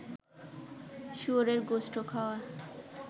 শুয়োরের গোস্ত খাওয়া